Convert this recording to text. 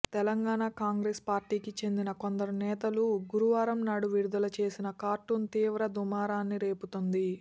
తెలంగాణ కాంగ్రెస్ పార్టీకి చెందిన కొందరు నేతలు గురువారం నాడు విడుదల చేసిన కార్టూన్ తీవ్ర దుమారాన్ని రేపుతోంది